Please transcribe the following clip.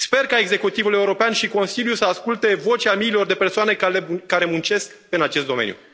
Sper ca executivul european și Consiliul să asculte vocea miilor de persoane care muncesc în acest domeniu.